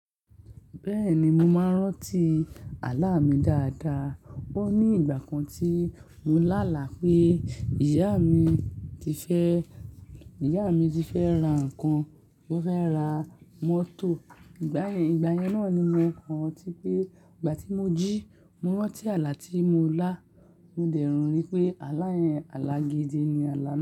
Bẹ́ẹ̀ni, mo máa ń rántí àlá mi dáadáa. Ó ní ìgbà kan tí mo lá àlá pé ìyá mi ti fẹ́, ìyá mi ti fẹ́ ra nǹkan, ó fẹ́ ra mọ́tò. Ìgbà yẹn, ìgbà yẹn náà ni mo kàń tí pé ìgbà tí mo jí, mo rántí àlá tí mo lá, mo dẹ̀ rí pé aláyé àlá gidi ni àlá.